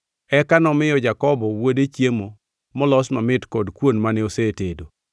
Eka nomiyo Jakobo wuode chiemo molos mamit kod kuon mane osetedo.